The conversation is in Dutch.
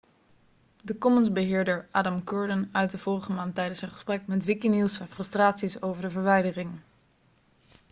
de commons-beheerder adam cuerden uitte vorige maand tijdens zijn gesprek met wikinews zijn frustraties over de verwijdering